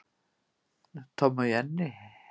Tommi og Jenni